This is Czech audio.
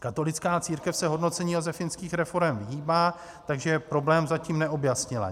Katolická církev se hodnocení josefínských reforem vyhýbá, takže problém zatím neobjasnila.